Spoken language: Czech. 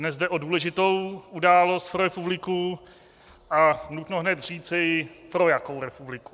Dnes jde o důležitou událost pro republiku a nutno hned říci, pro jakou republiku.